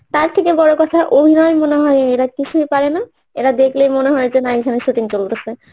তার থেকে বড় কথা অভিনয় মনে হয় এরা কিছুই পারে না এরা দেখলেই মনে হয় যে না এখানে shooting চলতাছে